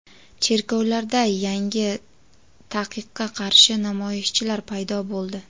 Cherkovlarda yangi taqiqqa qarshi namoyishchilar paydo bo‘ldi.